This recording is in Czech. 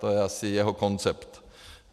To je asi jeho koncept.